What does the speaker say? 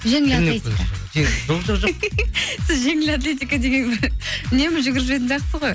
жеңіл атлетика жоқ жоқ жоқ сіз жеңіл атлетика деген бір үнемі жүгіріп жүретін сияқтысыз ғой